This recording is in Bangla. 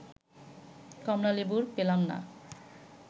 কমলালেবু পেলাম না